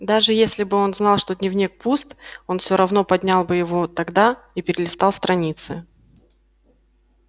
даже если бы он знал что дневник пуст он всё равно поднял бы его тогда и перелистал страницы